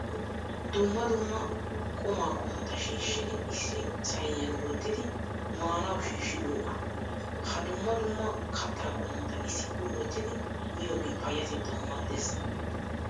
Dumma dumma qumaa qommota shiishshidi issi sayiniyan wottidi maanawu shiishshidoogaa. Ha dumma dumma kattaa qommota issippe wottidi miyogee payyatettawu maaddees.